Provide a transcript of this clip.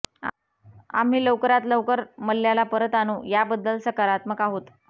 आम्ही लवकरात लवकर मल्ल्याला परत आणू याबद्दल सकारात्मक आहोत